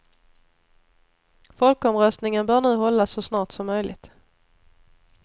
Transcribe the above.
Folkomröstningen bör nu hållas så snart som möjligt.